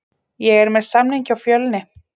Ég er með samning hjá Fjölni.